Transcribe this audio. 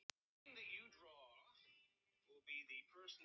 Hún ól mig ekki til þess.